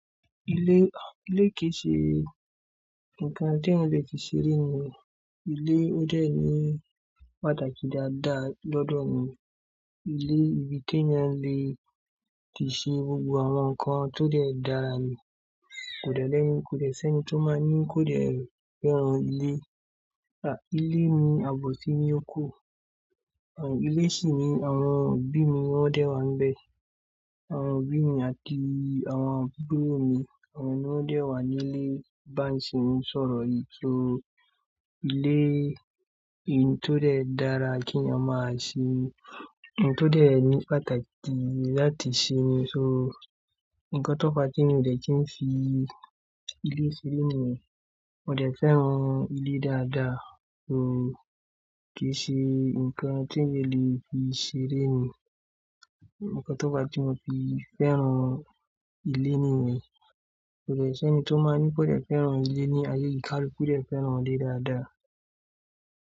Ilé, ah, ilé kì ṣe nǹkan tí eeyan lè fi ṣeré ni, ilé ó dẹ̀ ní pàtàkì dáadáa lọ́dọ̀ mi. Ilé ibi tí ẹeyan lè ti ṣe gbogbo àwọn nǹkan tó dẹ̀ dára ni. Kò dẹ̀ lẹ́, kò dẹ̀ ṣi ẹ́ni tó máa ní kò dẹ̀ fẹ́ràn ilé. Ah, ilé ni àbọ̀ sími oko. Ah, ilé sì ni, àwọn òbí mi won dẹ̀ wà nbẹ̀. Àwọn òbí mi àti àwọn àbúrò mi, àwọn ni ó dẹ̀ wà ní ilé bá ṣe n sọ̀rọ̀ yìí. So ilé n tó dẹ̀ dára kí ẹeeyan máa ṣí, un tó dẹ̀ ní pàtàkì láti ṣe ni. So nǹkan tó fa, tí mi ò dẹ̀ kí ń fi ilé ṣile ni, mo dẹ̀ fẹ́ran ilé dáadáa. So kì í ṣe nǹkan tí mi lè fi ṣeré ni. Ǹkan tó fa tí mo fi fẹ́ran ilé ni yen, kò dẹ̀ ṣẹ́ni tó máa ní kò dẹ̀ fẹ́ran ilé ní ayé yìí. Kaluku dẹ̀ fẹ́ran ilé dáadáa.